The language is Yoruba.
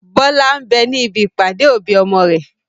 Bọlá ń bẹ ní ibi ìpàdé òbí ọmọ rẹ.